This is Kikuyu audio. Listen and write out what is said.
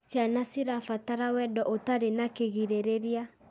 Ciana cirabatara wendo ũtarĩ na kĩgirĩrĩria.